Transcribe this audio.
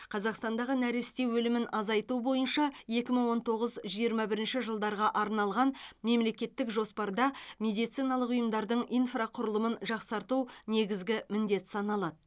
қазақстандағы нәресте өлімін азайту бойынша екі мың он тоғыз жиырма бірінші жылдарға арналған мемлекеттік жоспарда медициналық ұйымдардың инфрақұрылымын жақсарту негізгі міндет саналады